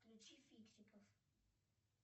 включи фиксиков